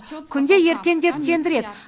күнде ертең деп сендіреді